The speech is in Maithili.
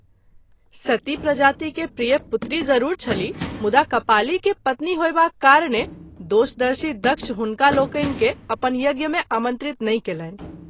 सती प्रजाति के प्रिय पुत्री जरूर छलीह मुदा कपाली के पत्नी होएबाक कारणे दोषदर्शी दक्ष हुनकालोकनि के अपन यज्ञ मे आमंत्रित नहिं कएलनि।